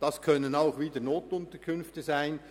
Es können auch wieder NUK sein.